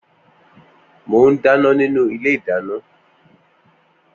Moún dàná ninu ìlé ìdàná.